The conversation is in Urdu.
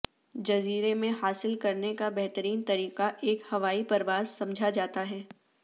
جزیرے میں حاصل کرنے کا بہترین طریقہ ایک ہوائی پرواز سمجھا جاتا ہے